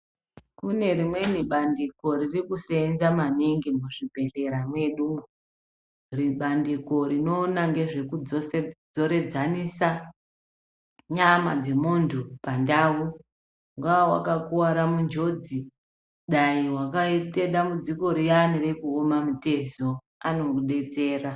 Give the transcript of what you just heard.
Kune rimweni bandiko ririkuseenza maningi muzvibhehlera mwedumwo. Bandiko rinoona nezvekudzoredzanisa nyama dzemuntu pandau. Ungaa wakakuvara munjodzi, dai wakaite dambudziko riyani rekuoma mutezo, anokudetsera.